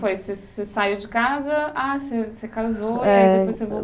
Você saiu de casa, você casou e depois voltou?